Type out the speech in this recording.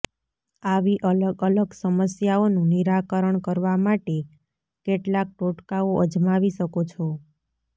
આવી અલગ અલગ સમસ્યાઓનું નિરાકરણ કરવા માટે કેટલાક ટોટકાઓ અજમાવી શકો છો